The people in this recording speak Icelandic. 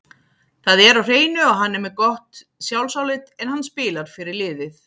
Það er á hreinu að hann er með gott sjálfsálit, en hann spilar fyrir liðið.